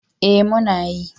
Eh muna yi